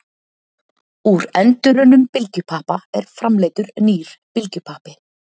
Úr endurunnum bylgjupappa er framleiddur nýr bylgjupappi.